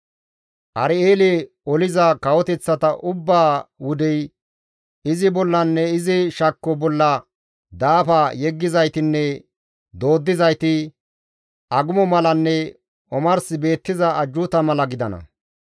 Ar7eele oliza kawoteththata ubbaa wudey izi bollanne izi shakko bolla daafa yeggizaytinne dooddizayti, agumo malanne omars beettiza ajjuuta mala gidana.